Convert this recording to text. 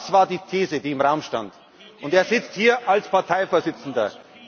Das war die These, die im Raum stand. Und er sitzt hier als Parteivorsitzender.